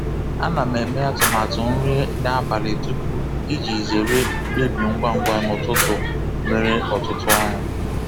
A na m eme atụmatụ nri n'abalị tupu iji zere mkpebi ngwa ngwa n'ụtụtụ nwere ọtụtụ ọrụ.